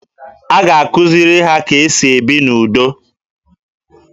A ga-akụziri ha ka e si ebi n'udo